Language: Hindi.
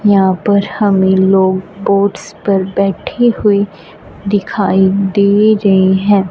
यहां पर हमे लोग बोट्स पर बैठे हुए दिखाई दे रहे हैं।